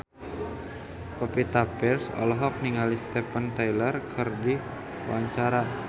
Pevita Pearce olohok ningali Steven Tyler keur diwawancara